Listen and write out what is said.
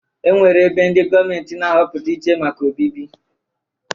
E nwere ebe ndị gọọment na-ahọpụta iche maka obibi.